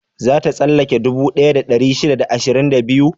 Za ta tsallake dubu ɗaya da ɗari shida da ashirin da biyu?